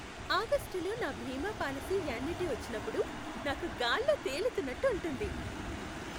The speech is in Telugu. ఆగస్టులో నా బీమా పాలసీ యాన్యుటీ వచ్చినప్పుడు నాకు గాల్లో తేలుతున్నట్టు ఉంటుంది.